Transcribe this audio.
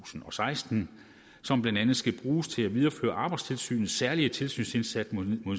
og seksten som blandt andet skal bruges til at videreføre arbejdstilsynets særlige tilsynsindsats mod